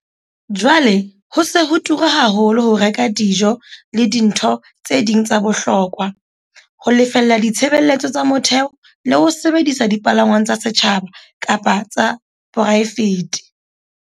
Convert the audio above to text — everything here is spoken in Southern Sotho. Jwale ho se ho tura haholo ho reka dijo le dintho tse ding tsa bohokwa, ho lefella ditshebeletso tsa motheo le ho sebedisa dipalangwang tsa setjhaba kapa tsa poraefete.